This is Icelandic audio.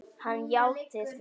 Hann játti því.